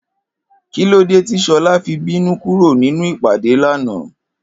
Kílódé tí S̩o̩lá fi bínú kúrò nínú ìpàdé lánàá?